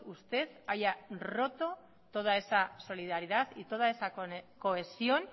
usted haya roto toda esa solidaridad y toda esa cohesión